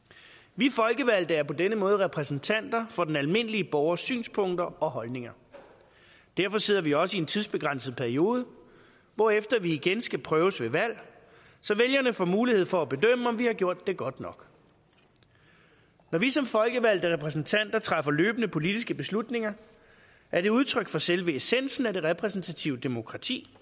vi folkevalgte er på denne måde repræsentanter for den almindelige borgers synspunkter og holdninger derfor sidder vi også i en tidsbegrænset periode hvorefter vi igen skal prøves ved valg så vælgerne får mulighed for at bedømme om vi har gjort det godt nok når vi som folkevalgte repræsentanter træffer løbende politiske beslutninger er det udtryk for selve essensen af det repræsentative demokrati